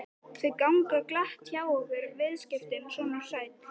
Þau ganga glatt hjá okkur viðskiptin, sonur sæll.